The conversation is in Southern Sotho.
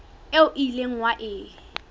eo o ileng wa e